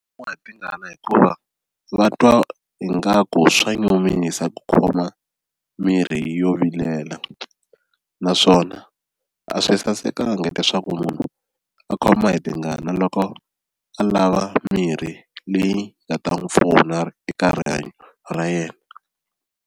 hi tingana hikuva va twa ingaku swa nyumisa ku khoma mirhi yo vilela naswona a swi sasekanga leswaku munhu a khoma hi tingana loko a lava mirhi leyi nga ta n'wi pfuna eka rihanyo ra yena.